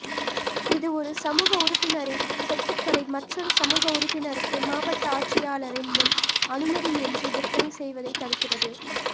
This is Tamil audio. இது ஒரு சமூக உறுப்பினரின் சொத்துக்களை மற்றொரு சமூக உறுப்பினருக்கு மாவட்ட ஆட்சியாளரின் முன் அனுமதியின்றி விற்பனை செய்வதைத் தடுக்கிறது